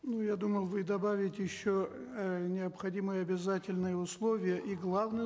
ну я думал вы добавите еще э необходимое обязательное условие и главное